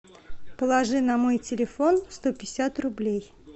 положи на мой телефон сто пятьдесят рублей